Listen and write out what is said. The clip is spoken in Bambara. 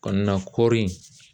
Kɔnɔna kɔri